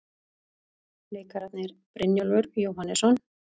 Leikararnir, Brynjólfur Jóhannesson